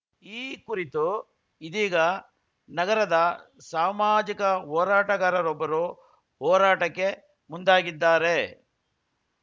ಈ ಕುರಿತು ಇದೀಗ ನಗರದ ಸಾಮಾಜಿಕ ಹೋರಾಟಗಾರರೊಬ್ಬರು ಹೋರಾಟಕ್ಕೆ ಮುಂದಾಗಿದ್ದಾರೆ